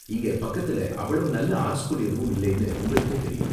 இங்க பக்கத்துல அவ்வளவு நல்ல ஆர்ட் ஸ்கூல் எதுவும் இல்லைன்னு உங்களுக்கே தெரியும்.